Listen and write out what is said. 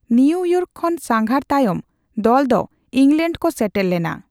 New York ᱠᱷᱚᱱ ᱥᱟᱸᱜᱷᱟᱨ ᱛᱟᱭᱚᱢ ᱫᱚᱞᱫᱚ ᱤᱝᱞᱚᱮᱱᱰ ᱠᱚ ᱥᱮᱴᱮᱨ ᱞᱮᱱᱟ ᱾